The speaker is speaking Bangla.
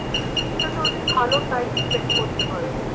beach টাতে অনেক ভালো time spend করতে পারেন